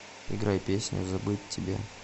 играй песню забыть тебя